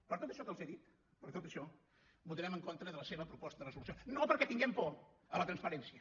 per tot això que els he dit per tot això votarem en contra de la seva proposta de resolució no perquè tinguem por a la transparència